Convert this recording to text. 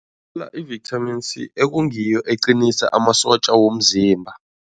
I-Vitamin C ekungiyo eqinisa amasotja womzimba.